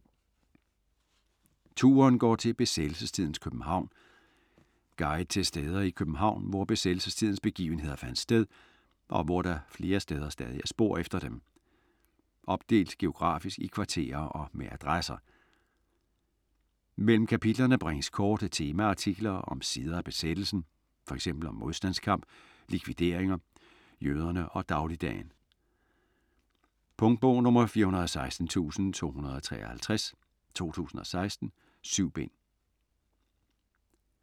Turen går til besættelsestidens København Guide til steder i København, hvor besættelsestidens begivenheder fandt sted, og hvor der flere steder stadig er spor efter dem. Opdelt geografisk i kvarterer og med adresser. Mellem kapitlerne bringes korte temaartikler om sider af besættelsen, fx om modstandskamp, likvideringer, jøderne og dagligdagen. Punktbog 416253 2016. 7 bind.